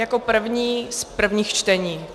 Jako první z prvních čtení.